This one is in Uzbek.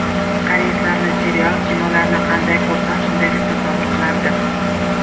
Koreyslarning serial, kinolarini qanday ko‘rsam, shunday deb tasavvur qilardim.